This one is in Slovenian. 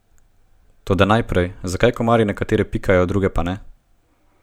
Toda najprej, zakaj komarji nekatere pikajo, druge pa ne?